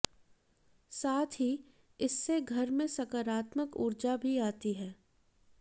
साथ ही इससे घर में सकारात्मक ऊर्जा भी आती है